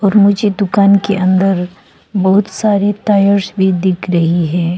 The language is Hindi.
मुझे दुकान के अंदर बहुत सारे टायर्स भी दिख रही है।